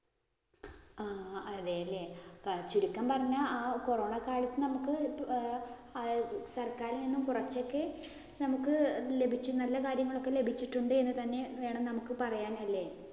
ആ അതെ അല്ലേ ചുരുക്കം പറഞ്ഞാല്‍ ആ corona കാലത്ത് നമുക്ക് സര്‍ക്കാരില്‍ നിന്നും കുറച്ച് ഒക്കെ നമുക്ക് ലഭിച്ച നല്ല കാര്യങ്ങള്‍ ഒക്കെ ലഭിച്ചിട്ടുണ്ട് എന്ന് തന്നെ വേണം നമുക്ക് പറയാന്‍ അല്ലേ.